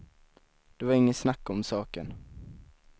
Det var inget snack om saken.